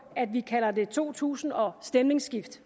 at vi kalder det to tusind og stemningsskift